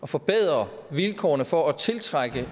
forbedre vilkårene for at tiltrække